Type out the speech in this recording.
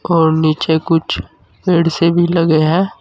और नीचे कुछ पेड़ से भी लगे हैं।